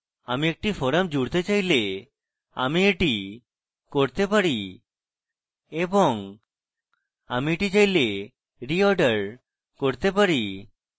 আমি একটি forum জুড়তে চাইলে আমি এটি করতে পারি এবং আমি এটি চাইলে রিঅর্ডার করতে পারি